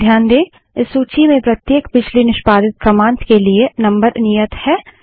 ध्यान दें इस सूची में प्रत्येक पिछली निष्पादित कमांड्स के लिए नंबर नियत है